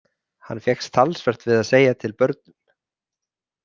Hann fékkst talsvert við að segja til börnum.